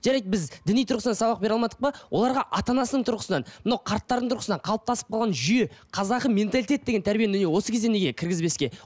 жарайды біз діни тұрғысынан сабақ бере алмадық па оларға ана анасының түрғысынан мынау қарттардың тұрғысынан қалыптасып қалған жүйе қазақы менталитет деген тәрбиені міне осы кезде неге кіргізбеске